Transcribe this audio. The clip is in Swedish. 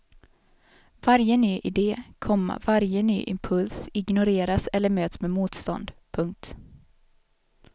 Varje ny idé, komma varje ny impuls ignoreras eller möts med motstånd. punkt